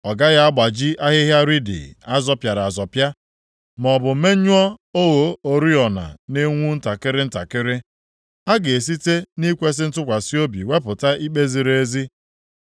Ọ gaghị agbaji ahịhịa riidi + 42:3 Ya bụ, osisi achara azọpịara azọpịa, maọbụ menyụọ ogho oriọna na-enwu ntakịrị ntakịrị. Ọ ga-esite nʼikwesị ntụkwasị obi wepụta ikpe ziri ezi.